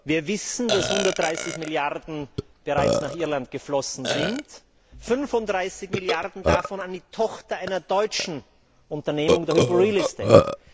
Wir wissen, dass 130 Milliarden bereits nach Irland geflossen sind, 35 Milliarden davon an die Tochter einer deutschen Unternehmung, der Hyporealestate.